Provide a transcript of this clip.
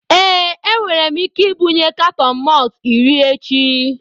Ee, enwere m ike ibunye katọn malt iri echi.